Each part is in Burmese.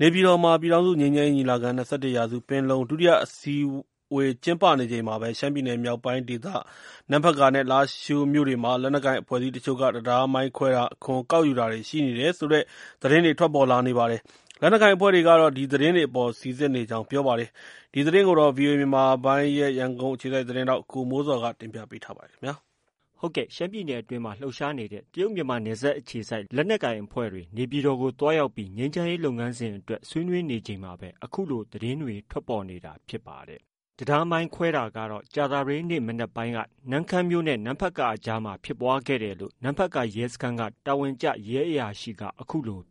နေပြည်တော်မှာ ပြည်ထောင်စုငြိမ်းချမ်းရေးညီလာခံ-၂၁ရာစုပင်လုံ ဒုတိယအစည်းအဝေး ကျင်းပနေချိန်မှာ ရှမ်းပြည်နယ် မြောက်ပိုင်းဒေသ နမ့်ဖတ်ကာနဲ့ လားရှိုးမြို့ တွေမှာ လက်နက်ကိုင်အဖွဲ့အစည်းတချို့က တံတားမိုင်းခွဲတာ၊ အခွန်ကောက်ယူတာတွေ ရှိနေတယ် ဆိုတဲ့သတင်းတွေ ထွက်ပေါ်လာနေပါတယ်။ လက်နက်ကိုင်အဖွဲ့တွေကတော့ ဒီသတင်းတွေအပေါ် စိစစ်နေကြောင်း ပြောပါတယ်။ ဒီသတင်းကို ဗွီအိုအေမြန်မာပိုင်းရဲ့ သတင်းထောက် ကိုမိုးဇော်က တင်ပြထားပါတယ်။ ရှမ်းပြည်နယ်အတွင်းမှာ လှုပ်ရှားကြတဲ့ တရုတ်-မြန်မာနယ်စပ်အခြေစိုက် လက်နက်ကိုင် အဖွဲ့တွေ နေပြည်တော်ကို သွားရောက်ပြီး ငြိမ်းချမ်းရေး လုပ်ငန်းစဉ်တွေ အတွက် ဆွေးနွေးနေချိန်မှာပဲ အခုလို သတင်းတွေ ထွက်ပေါ်လာနေတာဖြစ်ပါတယ်။ တံတားမိုင်းခွဲတာကတော့ ကြာသပတေးနေ့ မနက်ပိုင်းက နမ့်ခမ်းနဲ့ နမ့်ဖတ်ကာ အကြားမှာဖြစ်ပွားခဲ့တယ်လို့ နမ့်ဖတ်ကာရဲစခန်းက တာဝန်ကျ ရဲအရာရှိက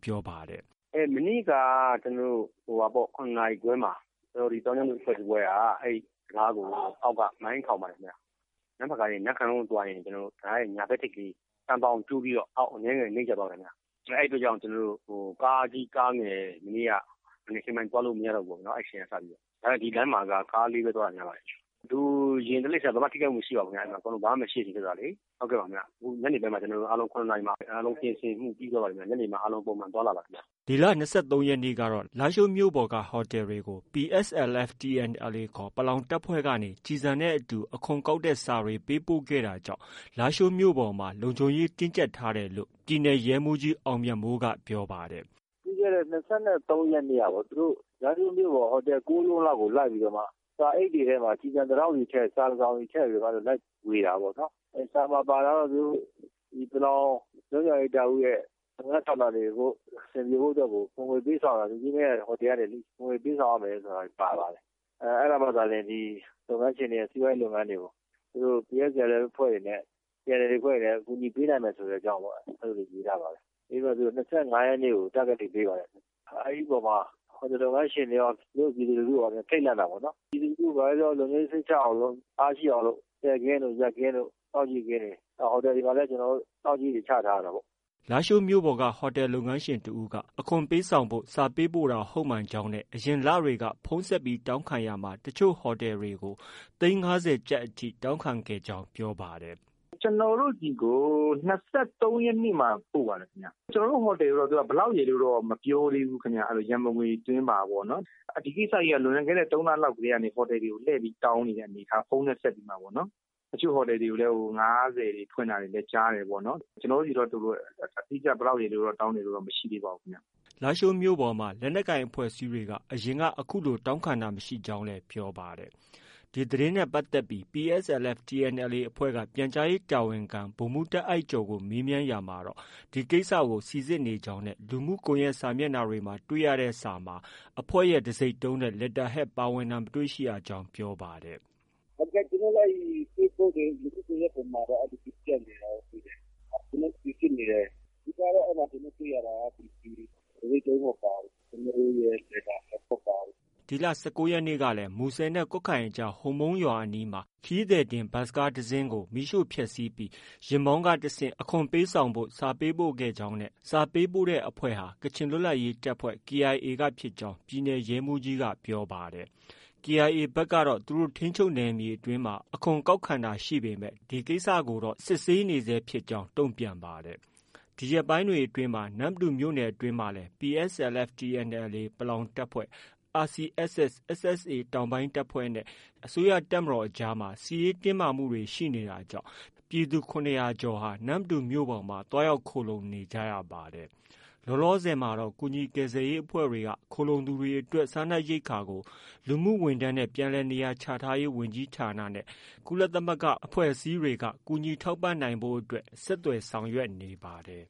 ပြောပါတယ်။ " မနေ့က ၇နာရီခွဲမှာ အဲ့ဒီ့သောင်းကျန်းသူအဖွဲ့တဖွဲ့က တံတားကို အောက်က မိုင်းထောင်ပါတယ်ခင်ဗျ။ နမ့်ဖတ်ကာရဲ့တံတား ညာဘက်ထိပ်က သံဘောင်ကျိုးပြီး အောက်ဘက်ကို အနည်းငယ် နိမ့်ကျသွားတယ်ခင်ဗျ။ အဲ့ဒီ့အတွက်ကြောင့် ကားကြီးကားငယ် မနေ့က မနက်ခင်းပိုင်းက သွားလို့မရတော့ဘူး အဲ့ဒီ့အချိန်ကစပြီးတော့။ ဒါပေမဲ့ ဒီလမ်းမှာက ကားလေးပဲ သွားတာများပါတယ်ခင်ဗျ။ လူ၊ ယာဉ်၊ တိရစ္ဆာန် ဘာမှ မထိခိုက်ပါဘူးခင်ဗျ။ ဘာမှမရှိဘူး။ ညနေပိုင်း ၇နာရီမှာ ကျနော်တို့ ပြင်ဆင်မှု အားလုံးပြီးသွားပါပြီခင်ဗျ။ ညနေပိုင်းမှာ အားလုံး ပုံမှန်သွားလာပါတယ်ခင်ဗျ။" ဒီလ ၂၃ရက်နေ့ကတော့ လားရှိုးမြို့ပေါ်က ဟိုတယ်တွေကို PSLF/ TNLA ခေါ် ပလောင်တပ်ဖွဲ့ကနေ ကျည်ဆံနဲ့အတူ အခွန်ကောက်ခံတဲ့စာ ပေးပို့ခဲ့တာ ကြောင့် လားရှိုမြို့ပေါ်မှာ လုံခြုံရေးတင်းကျပ်ထားတယ်လို့ ပြည်နယ်ရဲမှုးကြီး အောင်မြတ်မိုးက ပြောပါတယ်။ "ပြီးခဲ့တဲ့ ၂၃ရက်နေ့က လားရှိုးမြို့ပေါ် ဟိုတယ်ကိုးလုံးလောက်ကို လိုက်ပြီးတော့ စာအိတ်တွေထဲမှာ ကျည်ဆံတတောင့်စီထည့် စာတစောင်စီထည့်ပြီးတော့ လိုက်ဝေတာပေါ့နော်။ စာမှာ ပါတာကတော့ သူတို့ ပလောင်လွတ်မြောက်ရေးတပ်ဦးရဲ့ လုပ်ငန်းဆောင်တာတွေအဆင်ပြေဖို့အတွက်ကို ဟိုတယ်ကနေ အခွန်ငွေပေးဆောင်ရမယ် ဆိုတာ ပါပါတယ်။ အဲ့တာမှသာလျင် လုပ်ငန်းရှင်တွေက စီးပွားရေးလုပ်ငန်းတွေကို PSLF အဖွဲ့တွေအနေနဲ့ TNLA အဖွဲ့တွေအနေနဲ့ အကူအညီပေးနိုင်မယ်ဆိုတဲ့အကြောင်း အဲ့လိုမျိုးရေးထားပါတယ်။ ရေးပြီးတော့ ၂၅ရက်နေ့က Target Date ပေးပါတယ်။ အဲ့ဒီ့အပေါ်မှာ ဟိုတယ်လုပ်ငန်းရှင်တွေရော ပြည်သူလူထုရော ထိတ်လန့်နေပါတယ်။ ပြည်သူလူထု ဘာပဲပြောပြေ လုံခြုံရေးစိတ်ချရအောင်လို့ အားရှိအောင်လို့ လှည့်ကင်း၊ ရပ်ကင်း၊ စောင့်ကြည့်ကင်းတွေ ဟိုတယ်တွေမှာလည်း စောင့်ကြည့်ဖို့ ချထားရတာပေါ့။" လားရှိုးမြို့ပေါ်က ဟိုတယ်လုပ်ငန်းရှင်တဦးက အခွန်ပေးဆောင်ဖို့ စာပေးပို့တာ ဟုတ်မှန်ကြောင်း အရင်လတွေက ဖုန်းဆက်တောင်းခံရာမှာ တချို့ဟိုတယ်တွေကို သိန်း၅၀လောက်အထိ တောင်းခံခဲ့ကြောင်း ပြောပါတယ်။ " ကျနော်တို့ဆီကို ၂၃ရက်နေ့မှာ ပို့ပါတယ်။ ကျနော်တို့ဟိုတယ်ကို ဘယ်လောက်ရယ်လို့တော့ မပြောသေးဘူး။ ရံပုံငွေသွင်းပါပေ့ါနော်။ ဒီကိစ္စကြီးက လွန်ခဲ့တဲ့သုံးလေးလကတည်းက ဟိုတယ်တွေကို လှည့်ပြီးတောင်းနေတဲ့ အနေအထားပေါ့နော် ဖုန်းနဲ့ဆက်ပြီးတော့။ တချို့ဟိုတယ်တွေကိုလည်း ငါးဆယ်ဖွင့်တာတွေလည်း ကြားတယ်ပေါ့။ ကျနော်တို့ဆီတော့ အတိအကျတော့ ဘယ်လောက်ရယ်တော့ တောင်းတာမရှိသေးပါဘူးခင်ဗျ။" လားရှိုးမြို့ပေါ်မှာ လက်နက်ကိုင်အဖွ့ဲအစည်းတွေက အရင်က အခုလို တောင်းခံတာမ ရှိကြောင်း ပြောပါတယ်။ ဒီသတင်းနဲ့ပတ်သက်ပြီး PSLF/TNLA အဖွဲ့က ပြန်ကြားရေးတာဝန်ခံ ဗိုလ်မှုး တာ့အိုက်ကျော်ကို ဆက်သွယ်မေးမြန်းရာမှာ ဒီကိစ္စကို စိစစ်နေကြောင်းနဲ့ လူမှုကွန်ယက် စာမျက်နှာမှာ တွေ့ရတဲ့ စာတွေမှာ အဖွဲ့ရဲ့ တံဆိပ်တုံးနဲ့ Letter head ပါဝင်တာကို မတွေ့ရကြောင်း ပြောပါတယ်။ "ကျနော်တို့လည်း ဖေ့စ်ဘွတ်ခ်တွေ လူမှုကွန်ရက်စာမျက်နှာတွေမှာတော့ ပြန့်နေတာတော့ တွေ့တယ်။ ကျနော်တို့ စိစစ်နေတယ်။ အဓိက ကတော့ ကျနော်တို့တွေ့ရတာကတော့ တံဆိပ်တုံးမပါဘူး။ ကျနော်တို့ရဲ့ Letter Head မပါဘူး။" ဒီလ ၁၉ရက်နေ့ကလည်း မူဆယ်နဲ့ကွတ်ခိုင်အကြား ဟိုမုံးရွာအနီးမှာ ခရီးသည်တင်ယာဉ်တဦးကို မီးရှို့ဖျက်ဆီးပြီး ယာဉ်မောင်းကတဆင့် အခွန်ပေးဆောင်ဖို့ စာပေးပို့ခဲ့ကြောင်းနဲ့ စာပေးပို့တဲ့အဖွဲ့ဟာ ကချင်လွတ်လပ်ရေးတပ်ဖွဲ့ KIA က ဖြစ်ကြောင်း ရှမ်းပြည်နယ်ရဲမှုးကြီးက ပြောပါတယ်။ KIA ဖက်ကတော့ သူတို့ထိန်းချုပ်နယ်မြေအတွင်းမှာ အခွန်ကောက်ခံတာရှိပေမဲ့ ဒီကိစ္စကိုတော့ စစ်ဆေးနေဆဲဖြစ်ကြောင်း တုံ့ပြန်ပါတယ်။ ဒီရက်ပိုင်းတွေအတွင်းမှာ နမ္မတူမြို့နယ်ဖက်မှာလည်း PSLF/TNLA ပလောင်တပ်ဖွဲ့၊ RCSS/SSA တောင်ပိုင်းတပ်ဖွဲ့နဲ့ အစိုးရတပ်မတော်အကြား စစ်ရေးတင်းမာတာတွေ ရှိနေတာကြောင့် ဒေသခံပြည်သူ ၇၀၀ကျော်ဟာ နမ္မတူမြို့ပေါ်မှာ သွားရောက် ခိုလှုံနေပါတယ်။ လောလောဆည်မှာတော့ ကူညီကယ်ဆယ်ရေးအဖွဲ့တွေက ခိုလှုံသူတွေအတွက် စားနပ်ရိက္ခာကို လူမှုဝန်ထမ်းနဲ့ ပြန်လည်နေရာချထားရေး ဝန်ကြီးဌာနနဲ့ ကုလသမဂ္ဂအဖွဲ့အစည်းတွေက ကူညီထောက်ပံဖို့အတွက် ဆက်သွယ်ဆောင်ရွက်နေ ပါတယ်။